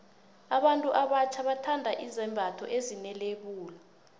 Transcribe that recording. abantu abatjha bathanda izembatho ezine lebula